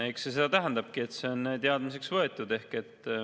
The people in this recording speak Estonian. Eks see seda tähendabki, et see on teadmiseks võetud.